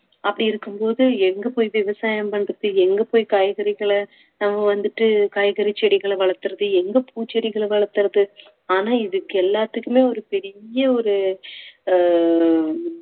அப்படி இருக்கும்போது எங்க போய் விவசாயம் பண்றது எங்க போய் காய்கறிகளை நம்ம வந்துட்டு காய்கறி செடிகளை வளர்த்திறது எங்க பூச்செடிகளை வளர்த்திறது ஆனா இதுக்கு எல்லாத்துக்குமே ஒரு பெரிய ஒரு அஹ்